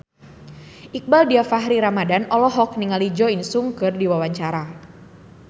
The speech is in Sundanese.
Iqbaal Dhiafakhri Ramadhan olohok ningali Jo In Sung keur diwawancara